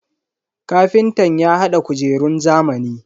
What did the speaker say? Kafintan ya hada kujerun zamani.